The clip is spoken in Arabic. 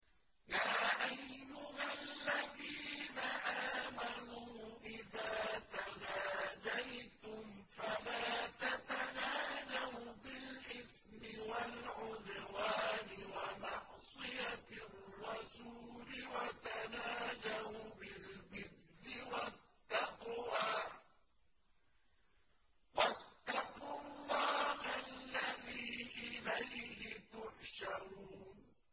يَا أَيُّهَا الَّذِينَ آمَنُوا إِذَا تَنَاجَيْتُمْ فَلَا تَتَنَاجَوْا بِالْإِثْمِ وَالْعُدْوَانِ وَمَعْصِيَتِ الرَّسُولِ وَتَنَاجَوْا بِالْبِرِّ وَالتَّقْوَىٰ ۖ وَاتَّقُوا اللَّهَ الَّذِي إِلَيْهِ تُحْشَرُونَ